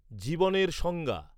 জীবনের সংজ্ঞা